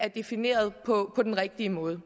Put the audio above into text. defineret på den rigtige måde